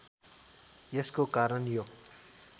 यसको कारण यो